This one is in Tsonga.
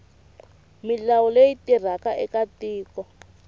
milawu leyi tirhaka eka tiko